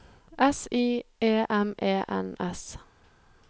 S I E M E N S